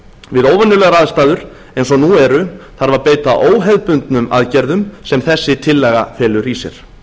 við óvenjulegar aðstæður eins og nú eru þarf að beita óhefðbundnum aðgerðum sem þessi tillaga felur í sér